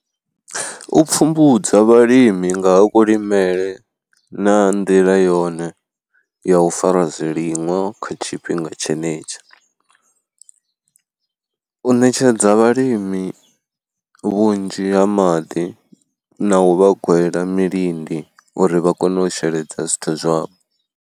U pfhumbudza vhalimi nga ha kulimele na nḓila yone ya u fara zwiliṅwa kha tshifhinga tshenetsho. U ṋetshedza vhalimi vhunzhi ha maḓi na u vha gwela milindi uri vha kone u sheledza zwithu zwavho.